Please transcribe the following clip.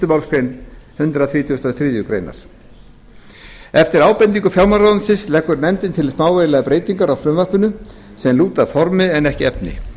málsgrein hundrað þrítugasta og þriðju grein eftir ábendingu fjármálaráðuneytisins leggur nefndin til smávægilegar breytingar á frumvarpinu sem lúta að formi en ekki efni